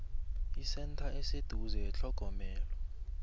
isentha eseduze yethlogomelo